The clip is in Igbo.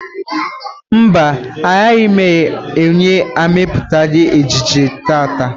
Mba, agaghị m ahụ onye na emepụta ejiji taa.